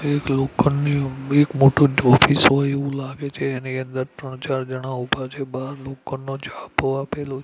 એક લોખંડની એક મોટુ ઑફિસ હોય એવુ લાગે છે એની અંદર ત્રણ ચાર જણા ઊભા છે બાર લોખંડનો છાપો આપેલો--